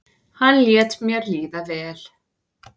hann lét mér líða vel.